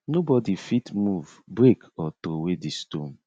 nobody fit move break or throway di stone